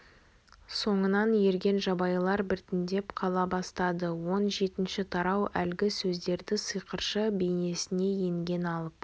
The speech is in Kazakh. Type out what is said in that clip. соңынан ерген жабайылар біртіндеп қала бастады он жетінші тарау әлгі сөздерді сиқыршы бейнесіне енген алып